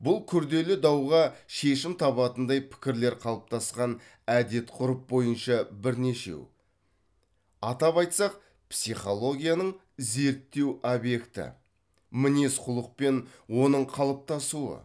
бұл күрделі дауға шешім табатындай пікірлер қалыптасқан әдет ғұрып бойынша бірнешеу атап айтсақ психологияның зерттеу объекті мінез құлық пен оның қалыптасуы